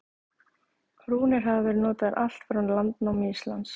Rúnir hafa verið notaðar allt frá landnámi Íslands.